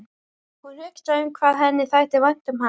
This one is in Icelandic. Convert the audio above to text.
Hún hugsaði um hvað henni þætti vænt um hann.